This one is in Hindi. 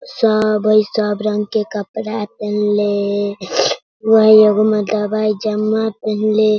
सब हेय सब रंग के कपड़ा पहिनले वही एगो मर्दाना पहनले।